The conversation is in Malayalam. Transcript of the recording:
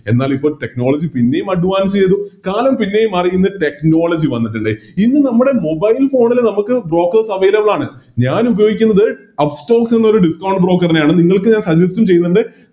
എന്നാലിപ്പോ Technology പിന്നേം Advance ചെയ്ത് കാലം പിന്നെയും മാറി ഇന്ന് Technology വന്നിട്ടുണ്ട് ഇന്ന് നമ്മുടെ Mobile phone ല് നമുക്ക് Brokers available ആണ് ഞാനുപയോഗിക്കുന്നത് Upstox എന്നൊരു Broker നെയാണ് നിങ്ങൾക്ക് Suggest ഉം ചെയ്യുന്നുണ്ട്